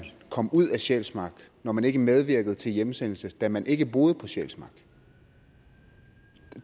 kom ud af sjælsmark når man ikke medvirkede til hjemsendelse da man ikke boede på sjælsmark